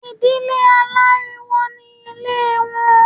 Ìdílé aláriwo ní Ilé wọn